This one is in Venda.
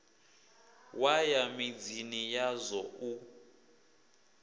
wa ya midzini yazwo u